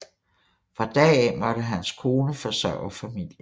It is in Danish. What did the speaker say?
Fra da af måtte hans kone forsørge familien